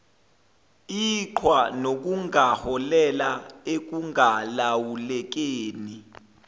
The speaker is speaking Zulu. iqhwa nokungaholela ekungalawulekeni